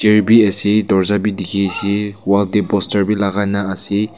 bhi ase dorja bi dikhi ase wall tey poster bi lagaina ase.